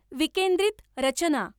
विकेन्द्रित रचना